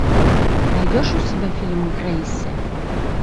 найдешь у себя фильм грейси